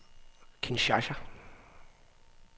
Kinshasa